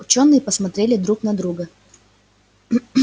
учёные посмотрели друг на друга